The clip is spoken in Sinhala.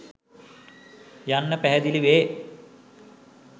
යන්න පැහැදිලි වේ.